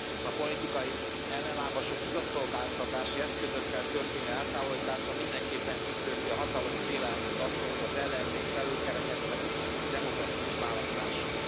A politikai ellenlábasok igazságszolgáltatási eszközökkel történő eltávolítása mindenképpen tükrözi a hatalom félelmét attól, hogy az ellenzék felülkerekedhet egy demokratikus választáson.